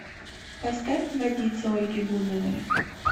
поставь водица ольги бузовой